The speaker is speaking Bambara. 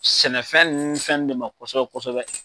Sɛnɛfɛn nun ni fɛn ne ma kosɛbɛ kosɛbɛ.